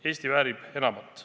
Eesti väärib enamat.